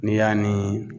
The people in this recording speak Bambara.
N'i y'a ni